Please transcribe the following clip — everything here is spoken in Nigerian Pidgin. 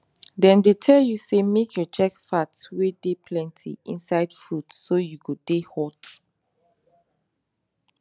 dem dey tell you say make you check fat wen dey plenty inside food so you go dey hot